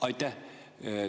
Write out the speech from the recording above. Aitäh!